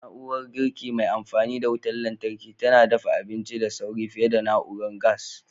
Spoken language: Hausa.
Na'urar girki mai amfani da wutar lantarki tana dafa abinci da sauri fiye da na'urar gas.